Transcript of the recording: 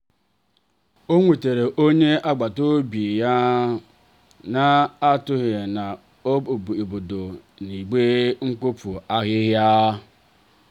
o nwetere onye agbata obi ya n'anoghi na obodo i igbe mkpofu ahịhịa.